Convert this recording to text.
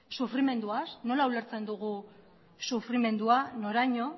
sufrimenduaz nola ulertzen dugu sufrimendua noraino